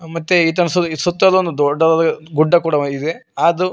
ಮತ್ತೆ ಈತನ ಸು ಸುತ್ತಲು ಒಂದು ದೊಡ್ಡದಾದ ಗುಡ್ಡ ಕೂಡ ಇದೆ ಆದು--